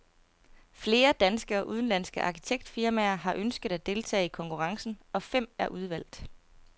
Flere danske og udenlandske arkitektfirmaer har ønsket at deltage i konkurrencen, og fem er udvalgt.